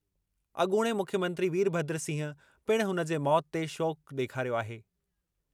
अॻूणे मुख्यमंत्री वीरभद्र सिंह पिणु हुन जे मौत ते शोक ॾेखारियो आहे।